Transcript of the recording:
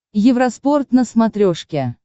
евроспорт на смотрешке